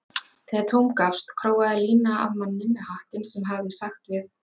Þegar tóm gafst króaði Lína af manninn með hattinn sem hafði sagt við